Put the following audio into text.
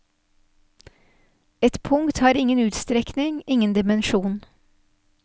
Et punkt har ingen utstrekning, ingen dimensjon.